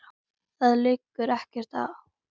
Og það liggur ekkert á.